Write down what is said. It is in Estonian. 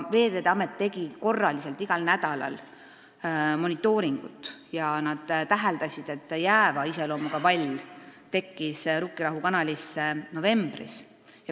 Veeteede Amet tegi korraliselt igal nädalal monitooringut ja täheldas, et jääva iseloomuga vall tekkis Rukkirahu kanalisse novembris.